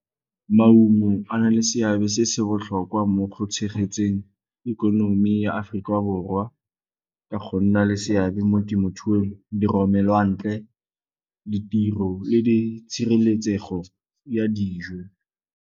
Maungo a na le seabe se se botlhokwa mo go tshegetseng ikonomi ya Aforika Borwa le go nna le seabe mo temothuong, diromelwantle, ditiro le tshireletsego ya dijo.